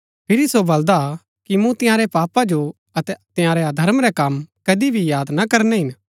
फिरी सो बल्‍दा कि मूँ तंयारै पापा जो अतै तंयारै अधर्म रै कम कदी भी याद ना करनै हिन